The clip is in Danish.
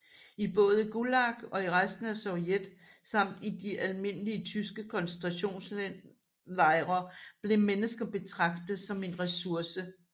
I både Gulag og i resten af Sovjet samt i de almindelige tyske koncentrationslejre blev mennesker betragtet som en resurse